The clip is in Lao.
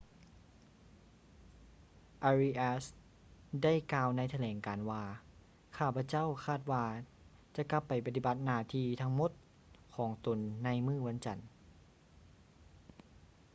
ອາຣີອາສ໌ arias ໄດ້ກ່າວໃນຖະແຫຼງການວ່າ ຂ້າພະເຈົ້າຄາດວ່າຈະກັບໄປປະຕິບັດໜ້າທີ່ທັງໝົດຂອງຕົນໃນມື້ວັນຈັນ